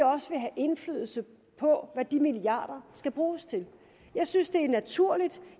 også vil have indflydelse på hvad de milliarder skal bruges til jeg synes det er naturligt